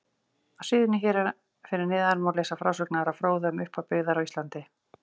Á síðunni hér fyrir neðan má lesa frásögn Ara fróða um upphaf byggðar á Íslandi.